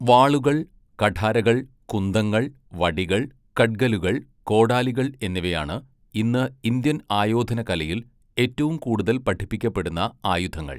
വാളുകൾ, കഠാരകൾ, കുന്തങ്ങൾ, വടികൾ, കഡ്ഗലുകൾ, കോടാലികൾ എന്നിവയാണ് ഇന്ന് ഇന്ത്യൻ ആയോധനകലയിൽ ഏറ്റവും കൂടുതൽ പഠിപ്പിക്കപ്പെടുന്ന ആയുധങ്ങൾ.